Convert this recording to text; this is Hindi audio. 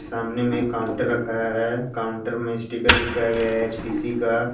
सामने में एक काउंटर रखा है काउंटर में स्टीगर चिपकाया गया है एच_पी_सी का।